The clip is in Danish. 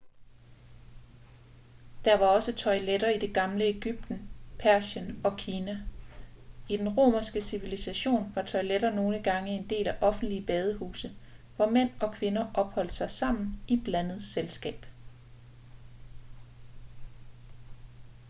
der var også toiletter i det gamle egypten persien og kina i den romerske civilisation var toiletter nogle gange en del af offentlige badehuse hvor mænd og kvinder opholdt sig sammen i blandet selskab